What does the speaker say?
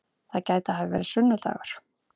Það gæti hafa verið sunnu-dagur.